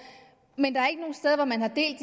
men der